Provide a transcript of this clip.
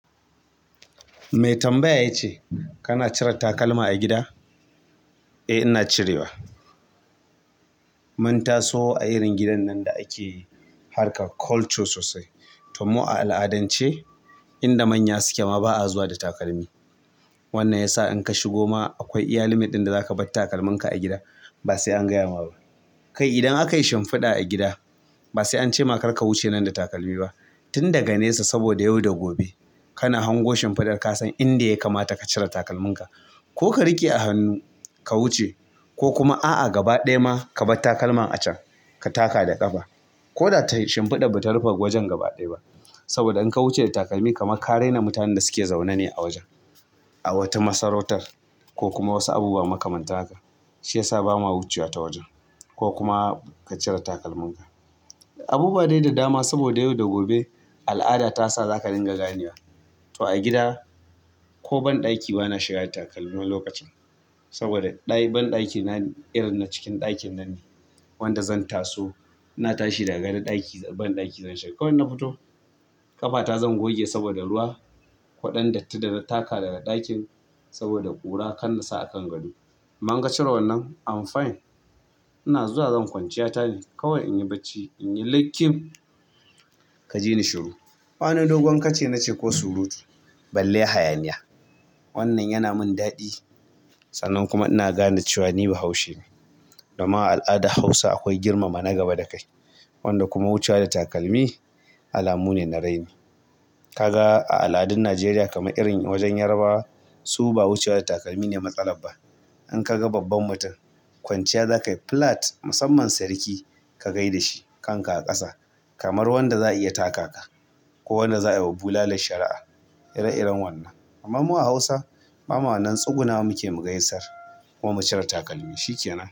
Mai tambaya ya ce, "Kana cire takalma a gida?" Eh ina cirewa. Mun taso a irin gidan nan da ake harkar culture sosai. To mu a al'adance inda manya suke ma ba'a zuwa da takalmi. Wannan yasa in ka shigo ma akwai iya limit ɗin da zaka bar takalminka a gida ba sai an gaya ma ba. Kai idan akai shimfiɗa a gida, basai ancema karka wuce nan da takalmi ba tun daga nesa saboda yau da gobe kana hango shimfiɗar kasan inda ya kamata ka cire takalminka ko ka riƙe a hannu ka wuce ko kuma a'a gaba ɗaya ma kabar takalman a can ka taka da ƙafa. Ko da tayi shimfiɗar bata rufe wajen gaba ɗaya ba. Saboda in ka wuce da takalmi kamar ka raina mutanen da suke zaune ne a wajen. A wata masarautar ko kuma wasu abubuwa makamantan haka. Shi ya sa bama wucewa ta wajen ko kuma ka cire takalminka. Abubuwa dai da dama saboda yau da gobe al'ada ta sa za ka dinga ganewa. To a gida ko banɗaki bana shiga da takalmi wani lokacin. Saboda banɗaki na irin na cikin ɗakin nanne wanda zan taso ina tashi daga gado banɗaki zan shiga. Kawai in na fito ƙafata zan goge saboda ruwa ko ɗan datti dana taka daga ɗakin saboda ƙura kan na sa a kan gado. Amma in ka cire wannan am fine. Ina zuwa zan kwanciya ta ne, kawai inyi bacci inyi likif ka ji ni shiru. Ba wani dogon kace nace ko surutu balle hayaniya. Wannan yana min daɗi. Sannan kuma ina gane cewa ni bahaushe ne. Dama al'adar Hausa akwai girmama na gaba da kai. Wanda kuma wucewa da takalmi alamu ne na raini. Ka ga a al'adun Najeriya kamar irin wajen Yarabawa su ba wucewa da takalmi ne matsalar ba. In ka ga babban mutum kwanciya za ka yi flat musamman sarki ka gai da shi kan ka a ƙasa kamar wanda za a iya taka ka ko wanda za a yi wa bulalar shari'a ire-iren wannan. Amma mu a Hausa bama wannan tsugunannawa muke mu gaisar kuma mu cire takalmi shi ke nan.